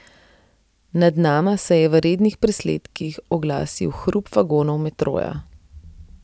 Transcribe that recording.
Nad nama se je v rednih presledkih oglasil hrup vagonov metroja.